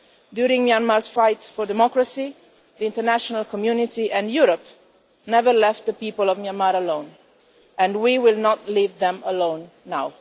During Myanmar's fights for democracy, the international community and Europe never left the people of Myanmar alone and we will not leave them alone now.